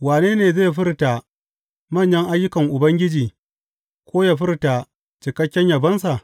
Wane ne zai furta manyan ayyukan Ubangiji ko yă furta cikakken yabonsa?